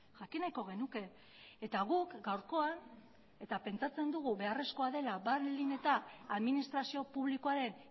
jakin nahiko genuke eta guk gaurkoan eta pentsatzen dugu beharrezkoa dela baldin eta administrazio publikoaren